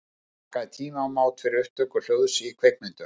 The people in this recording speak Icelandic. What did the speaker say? Það markaði tímamót fyrir upptöku hljóðs í kvikmyndum.